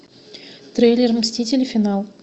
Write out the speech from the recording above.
трейлер мстители финал